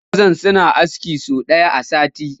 Wasu mazan suna aski sau ɗaya a sati